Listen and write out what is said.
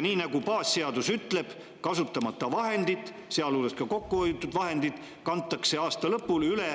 Nii nagu baasseadus ütleb, kasutamata vahendid, sealhulgas kokkuhoitud vahendid, kantakse aasta lõpul üle